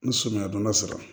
Ni sɔmiya don dɔ sera